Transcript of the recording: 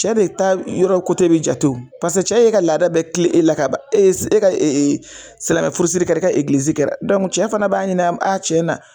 Cɛ de ta yɔrɔ bɛ jate o, paseke cɛ ye e ka laada bɛɛ kile e la ka ban e ka e e silamɛn furusiri kɛra i ka egilizi kɛra cɛ fana b'a ɲini an b'a tiɲɛ na.